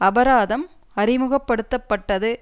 அபராதம் அறிமுக படுத்த பட்டது